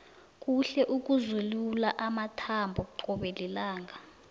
kuhle ukuzilula amathambo qobe lilanga